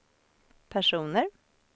personer